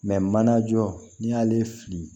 mana jɔ n'i y'ale fili